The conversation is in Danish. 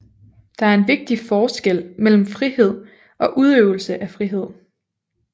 Der er en vigtig forskel mellem frihed og udøvelse af frihed